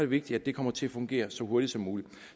vigtigt at det kommer til at fungere så hurtigt som muligt